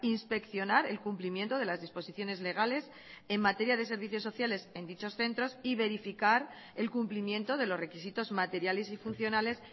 inspeccionar el cumplimiento de las disposiciones legales en materia de servicios sociales en dichos centros y verificar el cumplimiento de los requisitos materiales y funcionales